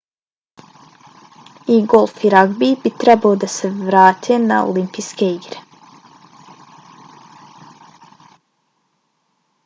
i golf i ragbi bi trebalo da se vrate na olimpijske igre